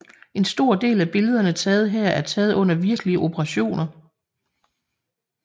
En stor del af billederne taget her er taget under virkelige operationer